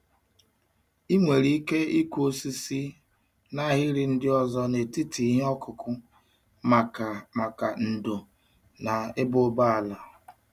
Ị nwere ike ịkụ osisi n'ahịrị ndị ọzọ n'etiti ihe ọkụkụ maka maka ndò na ịba ụba ala.